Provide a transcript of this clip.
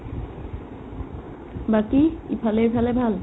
বাকি ইফালে-সিফালে ভাল ?